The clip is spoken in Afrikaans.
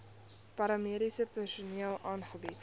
paramediese personeel aangebied